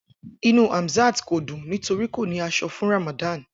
Inu Hamzat ko dun nitori ko ni aso fun Ramadan.